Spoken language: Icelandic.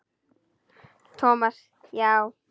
Thomas, já.